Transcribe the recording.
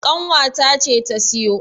ƙanwa ta ce ta siyo